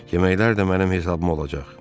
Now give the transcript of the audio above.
Yeməklər də mənim hesabıma olacaq.